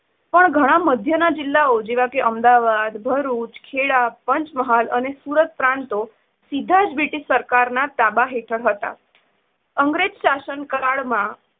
પણ ઘણા મધ્યના જિલ્લાઓ જેવા કે અમદાવાદ, ભરૂચ, ખેડા, પંચમહાલ અને સુરત પ્રાંતો સીધા જ બ્રિટિશ સરકારના તાબા હેઠળ હતાં અંગ્રેજ શાસન કાળ માં